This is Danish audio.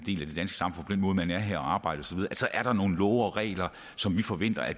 måde at man er her og arbejder så er der nogle love og regler som vi forventer at